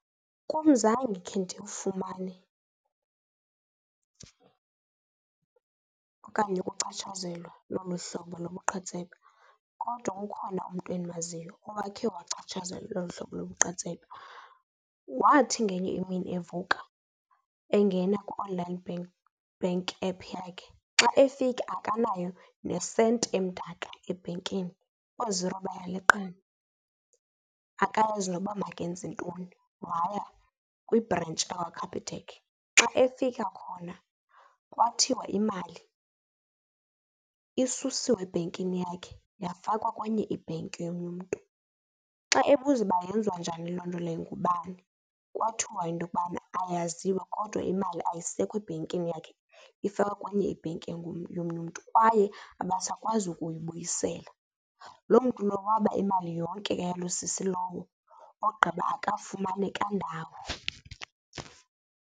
Kum zange khe ndiwufumane okanye ukuchatshazelwa loo mhlobo lobuqhetseba kodwa ukhona umntu endimaziyo owakhe wachatshazelwa lolu hlobo lobuqhetseba. Wathi ngenye imini evuka engena ku-online bank app yakhe, xa efika akanayo nesenti emdaka ebhenkini, ooziro bayaleqana, akayazi nokuba makenze ntoni. Waya kwibhrentshi yakwaCapitec. Xa efika khona kwathiwa imali isusiwe ebhenkini yakhe yafakwa kwenye ibhenki yomnye mntu xa ebuza uba yenziwa njani loo nto leyo ngubani kwathiwa into yokubana ayaziwa kodwa imali ayisekho ebhenkini yakhe ifakwe kwenye ibhenki yomnye umntu, kwaye abasakwazi kuyibuyisela. Loo mntu lowo waba imali yonke eyaloo sisi lowo ogqiba akafumaneka ndawo.